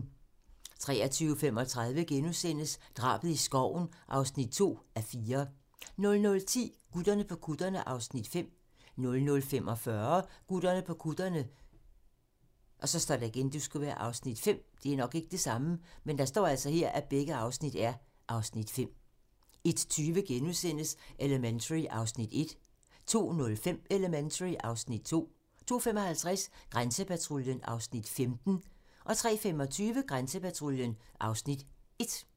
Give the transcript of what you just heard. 23:35: Drabet i skoven (2:4)* 00:10: Gutterne på kutterne (Afs. 5) 00:45: Gutterne på kutterne (Afs. 5) 01:20: Elementary (Afs. 1)* 02:05: Elementary (Afs. 2) 02:55: Grænsepatruljen (Afs. 15) 03:25: Grænsepatruljen (Afs. 1)